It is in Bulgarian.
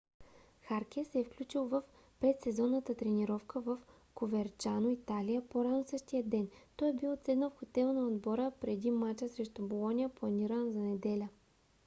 харке се е включил в предсезонната тренировка в коверчано италия по-рано същия ден. той е бил отседнал в хотела на отбора преди мача срещу болоня планиран за неделя